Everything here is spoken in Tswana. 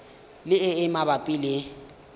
le e e mabapi le